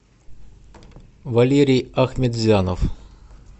валерий ахмедзянов